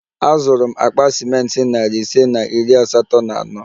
Azụrụ m akpa ciment narị ise na iri asatọ na ano